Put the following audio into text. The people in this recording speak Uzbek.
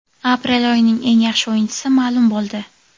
Aprel oyining eng yaxshi o‘yinchisi ma’lum bo‘ldi.